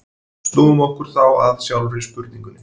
Snúum okkur þá að sjálfri spurningunni.